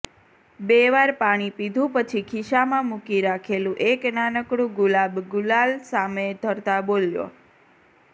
બે વાર પાણી પીધુ પછી ખિસ્સામાં મૂકી રાખેલું એક નાનકડું ગુલાબ ગુલાલ સામે ધરતાં બોલ્યો